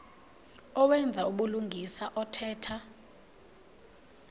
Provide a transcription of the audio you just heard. owenza ubulungisa othetha